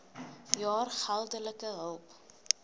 jaar geldelike hulp